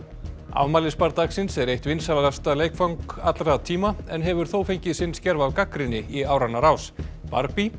afmælisbarn dagsins er eitt vinsælasta leikfang allra tíma en hefur þó fengið sinn skerf af gagnrýni í áranna rás